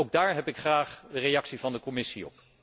Ook daar heb ik graag een reactie van de Commissie op.